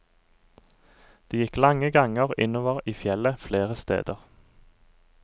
Det gikk lange ganger innover i fjellet flere steder.